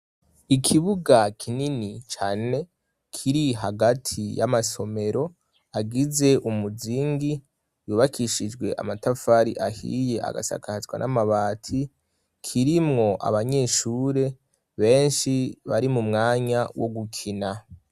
Ikibuga kinini cane, kiri hagati y'amasomero agize umuzingi, yubakishijwe amatafari ahiye, agasakazwa n'amabati, kirimwo abanyeshure benshi bari mu mwanya wo gukina.